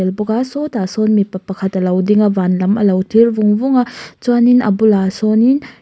bawka sawtah sawn mipa pakhat alo dinga van lam alo thlir vung vung a chuanin a bulah sawnin.